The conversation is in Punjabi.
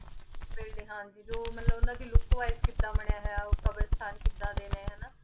building ਹਾਂਜੀ ਜੋ ਮਤਲਬ ਓਨਾਨਾ ਦੀ look wis ਕਿਦਾਂ ਬਨਯ ਹੋਯਾ ਆਯ ਕ਼ਾਬ੍ਰਾਸ੍ਤਾਨ ਕਿਦਾਂ ਦੇ ਨੇ ਹੇਨਾ